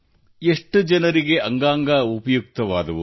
ಎಷ್ಟು ಜನರಿಗೆ ಅಂಗಾಂಗ ಉಪಯುಕ್ತವಾದವು